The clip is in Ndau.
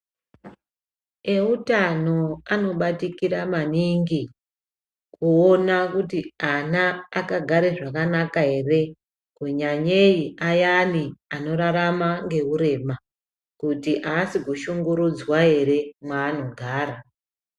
Ewutano anobatikira maningi, kuwona kuti ana akagara zvakanaka ere, kunyanyeyi ayani anorarama ngeurema, kuti aasi kushungurudzwa ere mwaanogara.